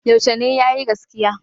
Yaushe ne ya yi gaskiya?